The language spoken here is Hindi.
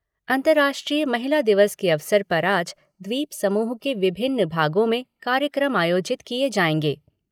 अंतर्राष्ट्रीय महिला दिवस के अवसर पर आज द्वीपसमूह के विभिन्न भागों में कार्यक्रम आयोजित किए जाएंगे।